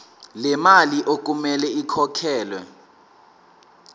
lemali okumele ikhokhelwe